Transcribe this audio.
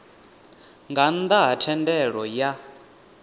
nga nnda ha thendelo ya